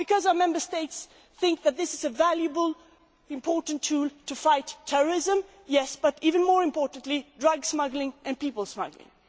Why? Because our Member States think that this is a valuable and important tool to fight terrorism and even more importantly drug smuggling and people smuggling.